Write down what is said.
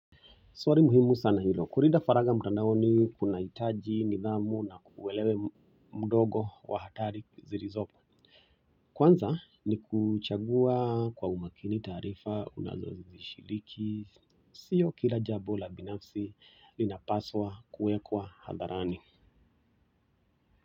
Swali muhimu sana hilo, kulinda faragha mtandaoni kunahitaji nidhamu na uelewe mdogo wa hatari zilizopo kwanza ni kuchagua kwa umakini taarifa unazoshiriki, sio kila jambo la binafsi linapaswa kuwekwa hadharani.